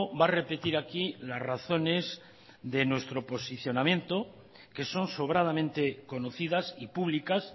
va a repetir aquí las razones de nuestro posicionamiento que son sobradamente conocidas y públicas